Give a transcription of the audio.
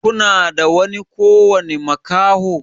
kuna da ƙowani makaho?